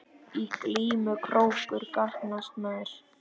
Í glímu krókur gagnast mér.